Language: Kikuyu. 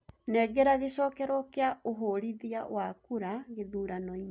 nengera gĩcokerwo kĩa uhũrithia wa kura gĩthuranoini